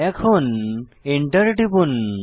এখন এন্টার টিপুন